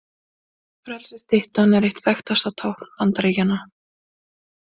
Frelsisstyttan er eitt þekktasta tákn Bandaríkjanna.